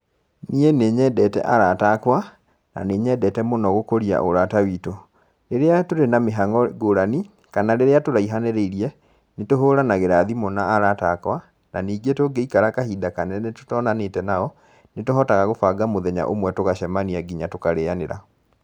Niĩ nĩ nyendete arata akwa, na nĩ nyendete mũno gũkũria ũrata witũ. Rĩrĩa tũrĩ na mĩhango ngũrani, kana rĩrĩa tũraihanĩrĩirie, nĩ tũhũranagĩra thimũ na arata akwa, na ningĩ tũngĩikara kahinda kanene tũtonanĩte nao, nĩ tũhotaga gũbanga mũthenya ũmwe tũgacemania, nginya tũkarĩanĩra.